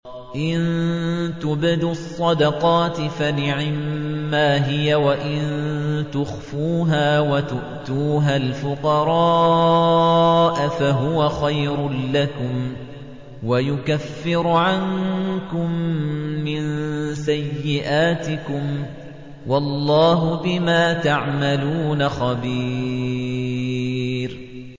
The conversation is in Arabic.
إِن تُبْدُوا الصَّدَقَاتِ فَنِعِمَّا هِيَ ۖ وَإِن تُخْفُوهَا وَتُؤْتُوهَا الْفُقَرَاءَ فَهُوَ خَيْرٌ لَّكُمْ ۚ وَيُكَفِّرُ عَنكُم مِّن سَيِّئَاتِكُمْ ۗ وَاللَّهُ بِمَا تَعْمَلُونَ خَبِيرٌ